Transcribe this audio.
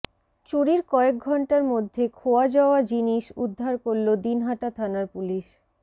চুরির কয়েক ঘণ্টার মধ্যে খোয়া যাওয়া জিনিস উদ্ধার করল দিনহাটা থানার পুলিশ